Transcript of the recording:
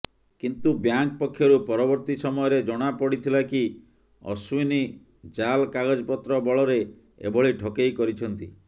କିନ୍ତୁ ବ୍ୟାଙ୍କ୍ ପକ୍ଷରୁ ପରବର୍ତୀ ସମୟରେ ଜଣାପଡ଼ିଥିଲା କି ଅଶ୍ୱିନୀ ଜାଲ୍ କାଗଜପତ୍ର ବଳରେ ଏଭଳି ଠକେଇ କରିଛନ୍ତି